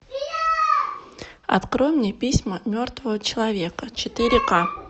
открой мне письма мертвого человека четыре ка